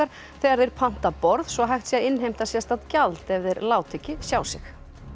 þegar þeir panta borð svo hægt sé að innheimta sérstakt gjald ef þeir láta ekki sjá sig